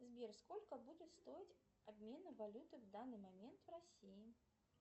сбер сколько будет стоить обмены валюты в данный момент в россии